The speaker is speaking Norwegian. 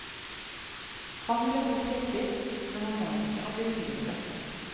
Han ble fort hissig, men han var ikke av de lureste.